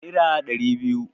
Nera ɗari biyu